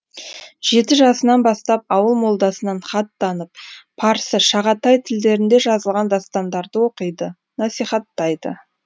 жеті жасынан бастап ауыл молдасынан хат танып парсы шағатай тілдерінде жазылған дастандарды оқиды насихаттайды